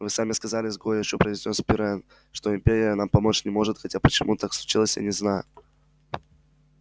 вы сами сказали с горечью произнёс пиренн что империя нам помочь не может хотя почему так случилось я не знаю